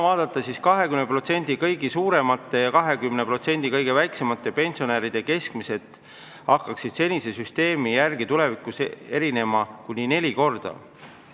20% kõige suuremat ja 20% kõige väiksemat pensioni saavate pensionäride keskmised pensionid hakkaksid senise süsteemi järgi tulevikus erinema kuni neli korda.